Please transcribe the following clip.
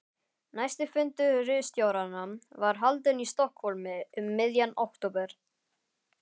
Næsti fundur ritstjóranna var haldinn í Stokkhólmi um miðjan október